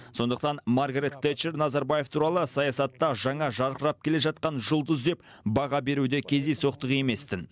сондықтан маргарет тэтчер назарбаев туралы саясатта жаңа жарқырап келе жатқан жұлдыз деп баға беруі де кездейсоқтық емес тін